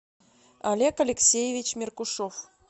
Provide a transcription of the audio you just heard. олег алексеевич меркушов